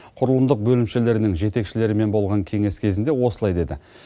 құрылымдық бөлімшелерінің жетекшілерімен болған кеңес кезінде осылай деді